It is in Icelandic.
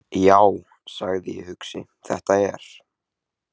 Já, sagði ég hugsi: Þetta er.